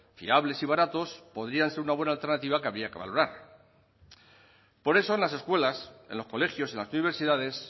fiables y baratos podrían ser una buena alternativa que habría que valorar por eso en las escuelas en los colegios y en las universidades